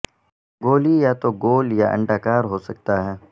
گولی یا تو گول یا انڈاکار ہو سکتا ہے